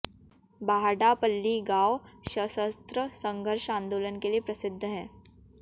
बाहडापल्ली गांव सशस्त्र संघर्ष आंदोलन के लिए प्रसिद्ध है